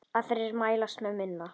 Aðrir mælast með minna.